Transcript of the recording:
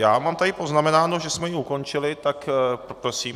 Já mám tady poznamenáno, že jsme ji ukončili, tak poprosím...